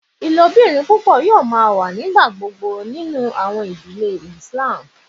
Ilobirin pupọ yoo ma wa nigbagbogbo ninu awọn idile Islam